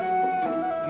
að